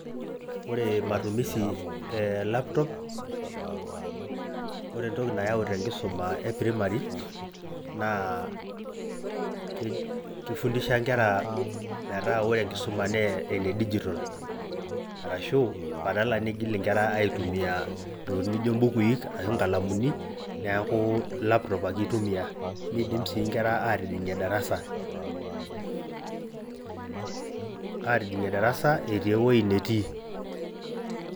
Ore matumisi ee laptop ore entoki nayau tenkisuma ee primary naa keifundisha nkera metaa ore enkisuma naa ene digital orashu badala neigil inkera iatumia ntokiting naijoo imbukuii ashu inkalamuni neeku laptop ake eitumia neidim sii inkera atijingie darasa eti eweji netii.